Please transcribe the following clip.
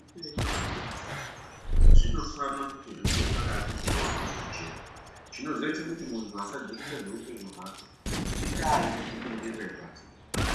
Zveuoenyu hwendu zvinofana kuti zvinge zvakati ryoryo kujeka ,chinozoite kuti muntu asajekesa zveupenyu hwake indaa yekuzviningirire pasi,